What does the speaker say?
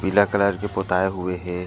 पीला कलर के पोतए हुए हे।